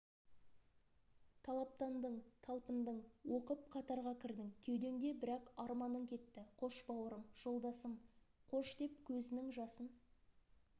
талаптандың талпындың оқып қатарға кірдің кеудеңде бірақ арманың кетті қош бауырым жолдасым қош деп көзінің жасын